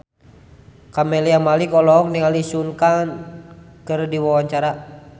Camelia Malik olohok ningali Sun Kang keur diwawancara